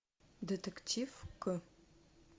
детектив к